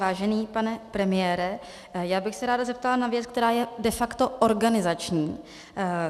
Vážený pane premiére, já bych se ráda zeptala na věc, která je de facto organizační.